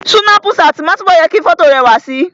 Súnápù ṣáàtì máa ń túbọ̀ jẹ́ kí fọ́tò rẹwà si